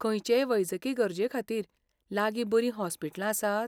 खंयचेय वैजकी गरजेखातीर लागीं बरीं हॉस्पिटलां आसात?